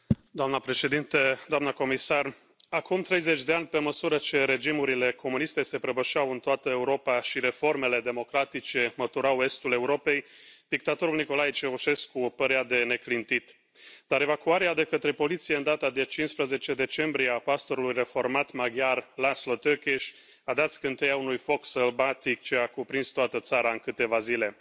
Doamnă președintă, doamnă comisară, acum 30 de ani, pe măsură ce regimurile comuniste se prăbușeau în toată Europa și reformele democratice măturau estul Europei, dictatorul Nicolae Ceaușescu părea de neclintit, dar evacuarea, de către poliție, în data de 15 decembrie, a pastorului reformat maghiar László Tőkés, a dat scânteia unui foc sălbatic ce a cuprins toată țara în câteva zile.